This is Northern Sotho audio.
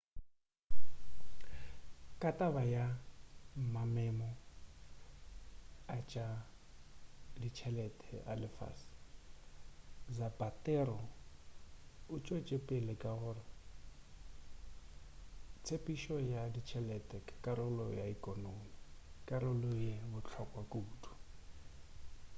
ka taba ya mamemo a tša ditšhelete a lefase zapatero o tšwetšepele ka gore tshepedišo ya ditšhelete ke karolo ya ekonomi karolo ye bohlokwa kudu